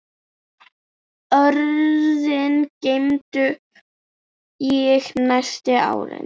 Orðin geymdi ég næstu árin.